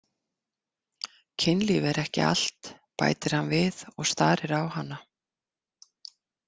Kynlíf er ekki allt, bætir hann við og starir á hana.